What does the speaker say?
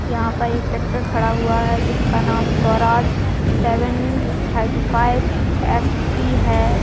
यहाँ पर एक ट्रैक्टर खड़ा हुआ है जिसका नाम Swaraj seven thirty five F E है।